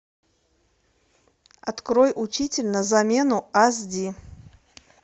открой учитель на замену аш ди